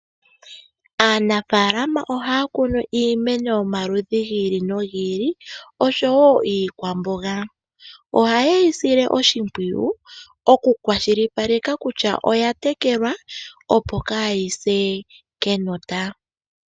Aanafalama ohaya kunu iimeno yomaludhi gi ili nogi ili oshowo iikwamboga. Ohaye yi sile oshimpwiyu okukwashilipaleka kutya oya tekelwa, opo kaayi se kenota.